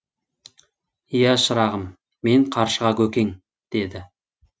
иә шырағым мен қаршыға көкең деді